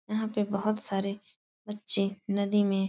यहाँ पे बहोत सारे बच्चे नदी में --